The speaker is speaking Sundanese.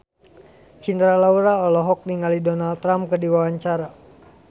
Cinta Laura olohok ningali Donald Trump keur diwawancara